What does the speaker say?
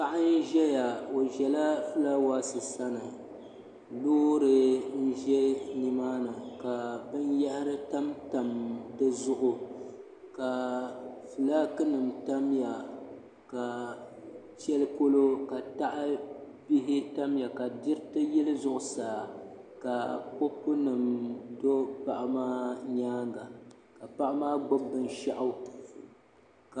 Paɣa n ʒɛya o ʒɛya fulaawaasi sani Loori n ʒɛ nimaani ka binyahari tamtam di zuɣu ka fulaaki nim tamya ka shɛli polo ka tahabihi tamya ka diriti yili zuɣusaa ka kopu nim do paɣa maa nyaanga ka paɣa maa gbubi binshaɣu